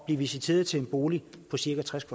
blive visiteret til en bolig på cirka tres